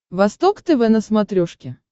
восток тв на смотрешке